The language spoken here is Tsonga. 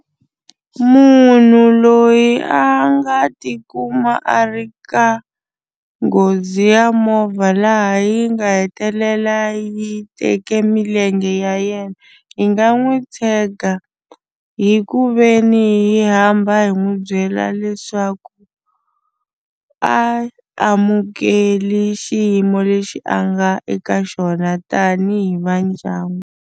Munhu loyi a nga tikuma a ri ka nghozi ya movha laha yi nga hetelela yi teke milenge ya yena hi nga n'wi tshega hi ku ve ni hi hamba hi n'wi byela leswaku a amukeli xiyimo lexi a nga eka xona tanihi va ndyangu.